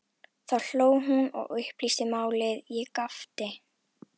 Þá hló hún og upplýsti málið, ég gapti.